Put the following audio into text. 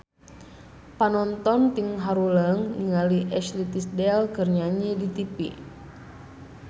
Panonton ting haruleng ningali Ashley Tisdale keur nyanyi di tipi